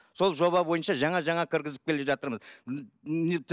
сол жоба бойынша жаңа жаңа кіргізіп келе жатырмыз